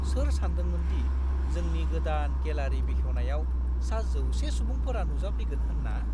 सोर सानदोंमोनदि जोंनि गोदान गेलारि बेखेवनायाव सा 100 सुबुंफोरा नुजाफैगोन होन्ना?